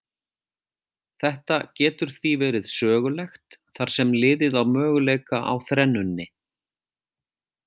Þetta getur því verið sögulegt þar sem liðið á möguleika á þrennunni.